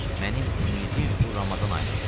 Mənim ümidim bu Ramazan ayınadır.